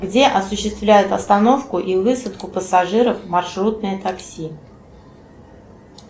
где осуществляют остановку и высадку пассажиров маршрутное такси